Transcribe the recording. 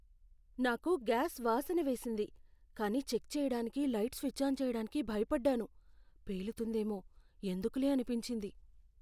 నాకు గ్యాస్ వాసన వేసింది కానీ చెక్ చేయడానికి లైట్ స్విచ్ ఆన్ చేయటానికి భయపడ్డాను. పేలుతుందేమో, ఎందుకులే అనిపించింది.